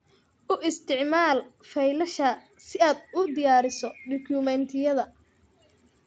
U isticmaal faylasha si aad u diyaariso dukumiintiyada.